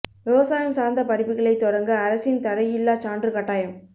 விவசாயம் சாா்ந்த படிப்புகளைத் தொடங்க அரசின் தடையில்லாச் சான்று கட்டாயம்